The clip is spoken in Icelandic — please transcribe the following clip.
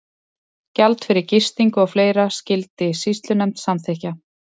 Gjald fyrir gistingu og fleira skyldi sýslunefnd samþykkja.